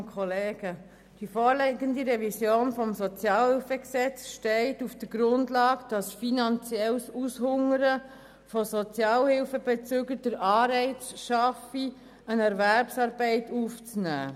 Die vorliegende Revision des SHG steht auf der Grundlage, dass finanzielles Aushungern von Sozialhilfebeziehenden den Anreiz schaffe, eine Erwerbsarbeit aufzunehmen.